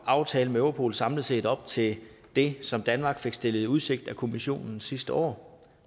aftalen med europol samlet set lever op til det som danmark fik stillet i udsigt af kommissionen sidste år